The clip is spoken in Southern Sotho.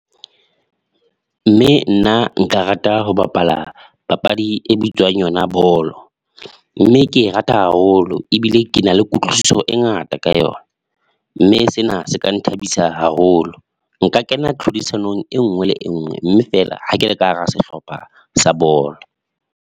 Mme nna nka rata ho bapala papadi e bitswang yona bolo, mme ke rata haholo ebile ke na le kutlwisiso e ngata ka yona, mme sena se ka nthabisa haholo. Nka kena tlhodisanong e nngwe le e nngwe mme feela ha ke le ka hara sehlopha sa bolo.